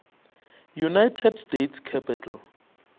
united states capitol